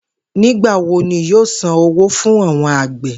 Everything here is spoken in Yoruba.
Nigbawo ni yoo san owo fun awọn agbe?